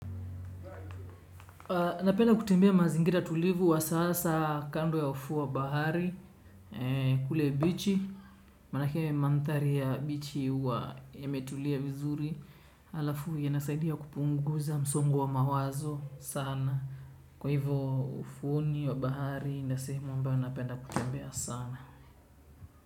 Napenda kutembea mazingira tulivu wa sasa kando ya ufuo wa bahari. Kule bichi maanake manthari ya bichi yametulia vizuri alafu yanasaidia kupunguza msongo wa mawazo sana. Kwa hivyo ufuoni wa bahari ndio sehemu ambayo napenda kutembea sana.